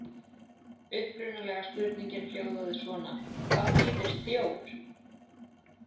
Upprunalega spurningin hljóðaði svona: Hvað þýðir þjór?